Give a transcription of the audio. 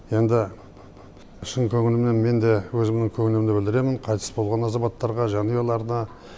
енді шын көңілімнен мен де өзімнің көңілімді білдіремін қайтыс болған азаматтарға жанұяларына